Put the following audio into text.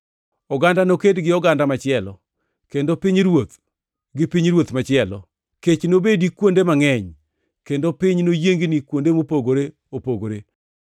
Oganda noked gi oganda machielo, kendo pinyruoth gi pinyruoth machielo. Kech nobedi kuonde mangʼeny kendo piny noyiengni kuonde mopogore opogore.